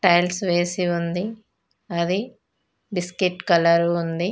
Tiles వేసి ఉంది అది బిస్కెట్ కలరు ఉంది.